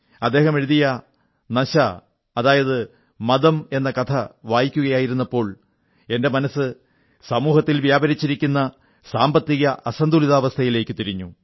അദ്ദേഹം എഴുതിയ നശാ ലഹരി എന്ന കഥ വായിക്കുകയായിരുന്നപ്പോൾ എന്റെ മനസ്സ് സമൂഹത്തിൽ വ്യാപിച്ചിരിക്കുന്ന സാമ്പത്തിക അസന്തുലിതാവസ്ഥയിലേക്കു തിരിഞ്ഞു